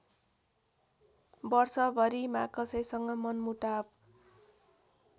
वर्षभरिमा कसैसँग मनमुटाव